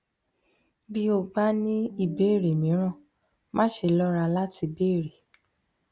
bí o bá ní ìbéèrè mìíràn má ṣe lọra láti béèrè